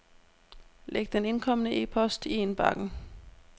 Læg den indkomne e-post i indbakken.